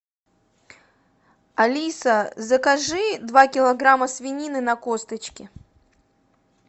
алиса закажи два килограмма свинины на косточке